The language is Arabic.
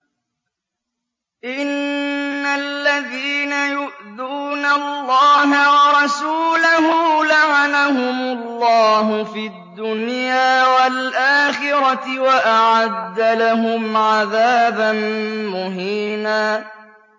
إِنَّ الَّذِينَ يُؤْذُونَ اللَّهَ وَرَسُولَهُ لَعَنَهُمُ اللَّهُ فِي الدُّنْيَا وَالْآخِرَةِ وَأَعَدَّ لَهُمْ عَذَابًا مُّهِينًا